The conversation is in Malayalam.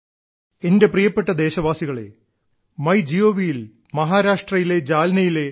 എന്റെ പ്രിയപ്പെട്ട ദേശവാസികളേ ങ്യ ഴീ് യിൽ മഹാരാഷ്ട്രയിലെ ജാൽനാ ഡോ